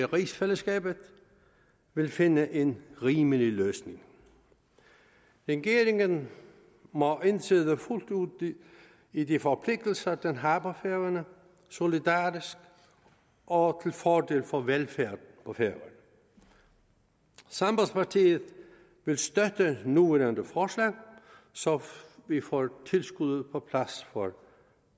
rigsfællesskabet vil finde en rimelig løsning regeringen må indtræde fuldt ud i de forpligtelser den har på færøerne solidarisk og til fordel for velfærd på færøerne sambandspartiet vil støtte det nuværende forslag så vi får tilskuddet for